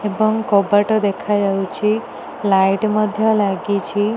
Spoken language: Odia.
ଏବଂ କବାଟ ଦେଖା ଯାଉଛି। ଲାଇଟ୍ ମଧ୍ୟ ଲାଗିଛି।